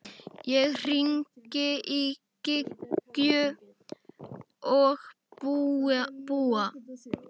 Ég hringdi í Gígju og Búa.